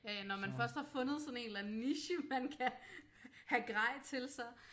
Ja ja når man først har fundet sådan en eller anden niche man kan have grej til så